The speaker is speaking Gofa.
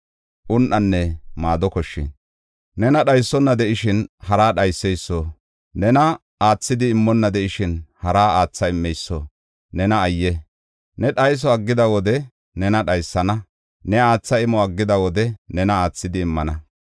Nena dhaysona de7ishin haraa dhayseyso, nena aathidi immonna de7ishin haraa aatha immeyso, nena ayye! Ne dhayso aggida wode nena dhaysana; ne aatha imo aggida wode nena aathidi immana.